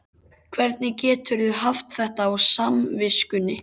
Hvernig geturðu haft þetta á samviskunni?